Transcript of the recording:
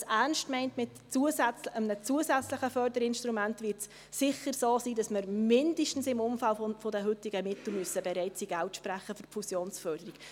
Wenn man es mit einem zusätzlichen Förderinstrument ernst meint, wird es sicher so sein, dass wir mindestens im Umfang der heutigen Mittel Geld für die Fusionsförderung zu sprechen bereit sein müssen.